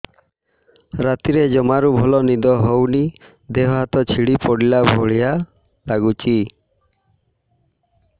ରାତିରେ ଜମାରୁ ଭଲ ନିଦ ହଉନି ଦେହ ହାତ ଛିଡି ପଡିଲା ଭଳିଆ ଲାଗୁଚି